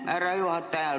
Aitäh, härra juhataja!